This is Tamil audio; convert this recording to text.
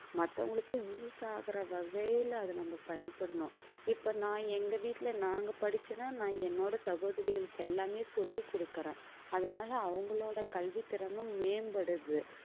மத்தவங்களுக்கும் use ஆகற வகையில அதை நம்ம பயன்படுத்தணும் இப்ப நான் எங்க வீட்டில நாங்க படிச்சு தான் நான் என்னோட சகோதரிகளுக்கு எல்லாமே சொல்லிக் கொடுக்கிறேன் அதனால அவங்களோட கல்வித் திறனும் மேம்படுது